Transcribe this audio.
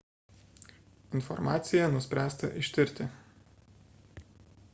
informaciją nuspręsta ištirti